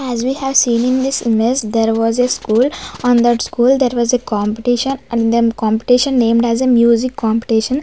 as we have seen in this image there was a school on that school there was a competition and the competition named as a music competition.